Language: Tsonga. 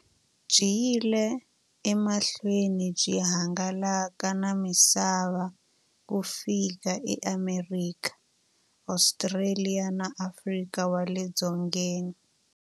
Byi yile emahlweni byi hangalaka na misava ku fika e Amerika, Ostraliya na Afrika wale dzongeni.